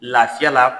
Lafiya la